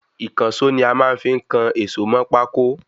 Ìkànsó ni a fí máa ń kan èsó mọ pákó